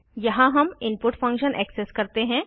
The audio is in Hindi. यहाँ हम इनपुट फंक्शन एक्सेस करते हैं